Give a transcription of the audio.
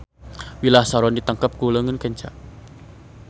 Wilah saron ditengkep ku leungeun kenca.